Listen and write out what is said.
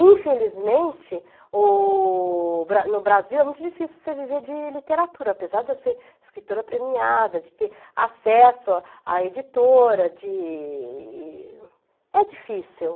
Infelizmente, o bra no Brasil é muito difícil você viver de literatura, apesar de eu ser escritora premiada, de ter acesso à editora, de... É difícil.